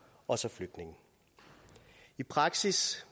og flygtninge i praksis